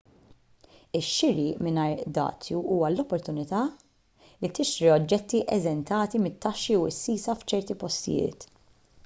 ix-xiri mingħajr dazju huwa l-opportunità li tixtri oġġetti eżentati mit-taxxi u s-sisa f'ċerti postijiet